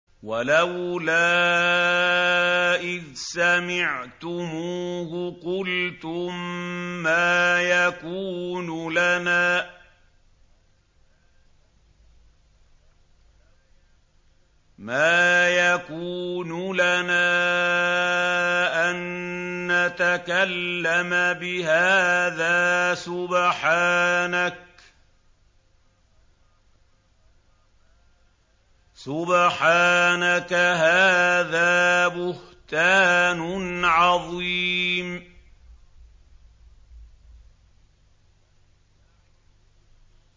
وَلَوْلَا إِذْ سَمِعْتُمُوهُ قُلْتُم مَّا يَكُونُ لَنَا أَن نَّتَكَلَّمَ بِهَٰذَا سُبْحَانَكَ هَٰذَا بُهْتَانٌ عَظِيمٌ